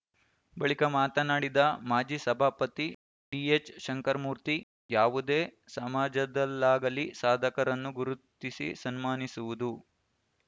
ಬಳಿಕ ಮಾತನಾಡಿದ ಮಾಜಿ ಸಭಾಪತಿ ಡಿಎಚ್‌ಶಂಕರ್ ಮೂರ್ತಿ ಯಾವುದೇ ಸಮಾಜದಲ್ಲಾಗಲಿ ಸಾಧಕರನ್ನು ಗುರುತಿಸಿ ಸನ್ಮಾನಿಸುವುದು